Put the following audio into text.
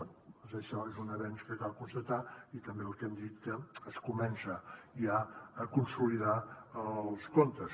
bé doncs això és un avenç que cal constatar i també el que hem dit que es comença ja a consolidar els comptes